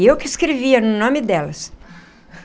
Eu que escrevia no nome delas.